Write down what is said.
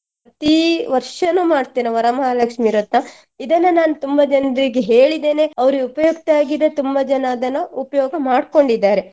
ಪ್ರತೀ ವರ್ಷನು ಮಾಡ್ತೇನೆ ವರಮಹಾಲಕ್ಷ್ಮಿ ವ್ರತ ಇದನ್ನ ನಾನ್ ತುಂಬಾ ಜನ್ರಿಗೆ ಹೇಳಿದ್ದೇನೆ ಅವರಿಗೆ ಉಪಯುಕ್ತವಾಗಿದೆ ತುಂಬಾ ಜನ ಅದನ್ನ ಉಪಯೋಗ ಮಾಡ್ಕೊಂಡಿದ್ದಾರೆ.